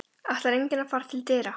Ætlar enginn að fara til dyra?